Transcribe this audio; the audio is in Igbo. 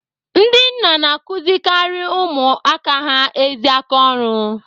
Ndị nna na akụzirikari ụmụaka ha ezi aka ọrụ.